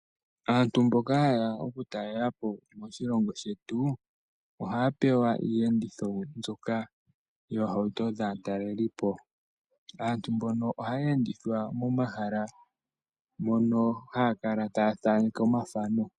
Aantu mboka ha yeya okutalelapo moshilongo shetu ohaya oewa iiyenditho mbyoka yaatalelipo. Aantu mbono ohaya endithwa momahala mono haya kala taya thaaneke omathano